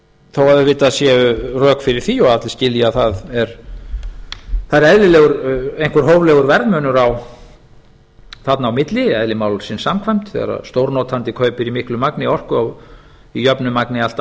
þó auðvitað séu rök fyrir því og allir skilja að það er eðlilegur einhver hóflegur verðmunur þarna á milli eðli málsins samkvæmt þegar stórnotandi kaupir í miklu magni orku í jöfnu magni allt